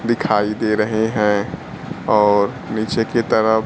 दिखाई दे रहे हैं और नीचे की तरफ--